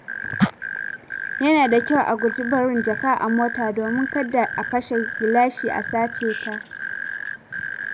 Yana da kyau a guji barin jaka a mota domin kada a fashe gilashi a saceta.